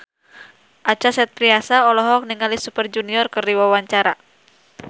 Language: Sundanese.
Acha Septriasa olohok ningali Super Junior keur diwawancara